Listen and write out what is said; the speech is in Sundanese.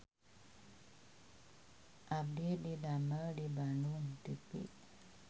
Abdi didamel di Bandung TV